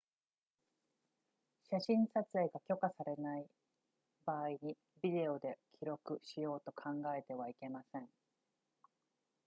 写真撮影が許可されない場合にビデオで記録しようと考えてはいけません